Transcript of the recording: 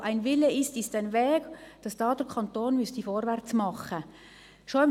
Wo ein Wille ist, ist ein Weg, weswegen der Kanton vorwärtsmachen müsste.